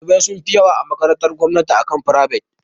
Ɗalibai sun fi yawa a makarantun gomnati akan ta frivet.